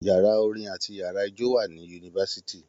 Yàrá orin àti yàrá ijó wà ní yunifásitì.